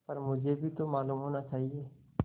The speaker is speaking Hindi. पर मुझे भी तो मालूम होना चाहिए